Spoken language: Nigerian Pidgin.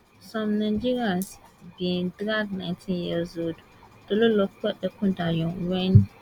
some nigerians bin drag ninteen years old Tolulope Ekundayo wen